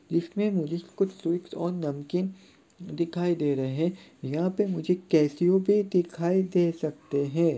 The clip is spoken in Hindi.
इसमें मुझे कुछ स्वीट्स और नमकीन दिखाई दे रहे हैं यहाँ पे मुझे केश्यू भी दिखाई दे सकते हैं।